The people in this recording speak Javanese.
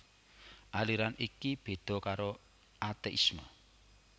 Aliran iki béda karo ateisme